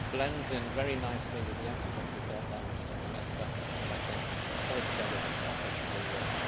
It blends in very nicely with the excellent report by Mr Onesta, and I think altogether this package will work.